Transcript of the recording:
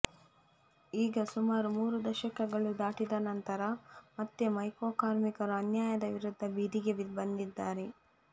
ಈಗ ಸುಮಾರು ಮೂರು ದಶಕಗಳು ದಾಟಿದ ನಂತರ ಮತ್ತೆ ಮೈಕೋ ಕಾರ್ಮಿಕರು ಅನ್ಯಾಯದ ವಿರುದ್ದ ಬೀದಿಗೆ ಬಂದಿದ್ದಾರೆ